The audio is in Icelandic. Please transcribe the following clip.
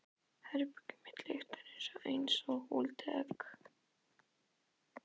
Herbergið mitt lyktar einsog úldið egg.